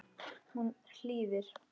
Hún hlýðir.